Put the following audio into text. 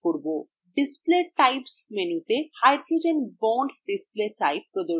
display types মেনুতে hydrogen bond display type প্রদর্শিত হচ্ছে